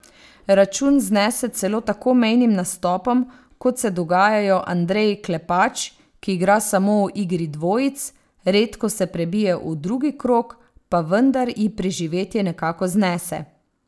Račun znese celo tako mejnim nastopom, kot se dogajajo Andreji Klepač, ki igra samo v igri dvojic, redko se prebije v drugi krog, pa vendar ji preživetje nekako znese.